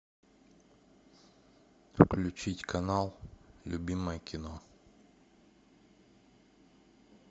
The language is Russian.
включить канал любимое кино